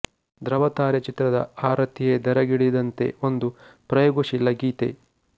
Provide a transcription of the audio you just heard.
ದೃವತಾರೆ ಚಿತ್ರದ ಆ ರತಿಯೇ ಧರೆಗಿಳಿದಂತೆಒಂದು ಪ್ರಯೋಗ ಶೀಲ ಗೀತೆ